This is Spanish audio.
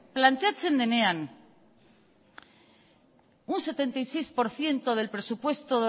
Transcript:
planteatzen denean un setenta y seis por ciento del presupuesto